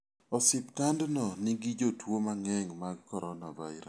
Osiptandno nigi jotuo mang'eny mag coronavirus.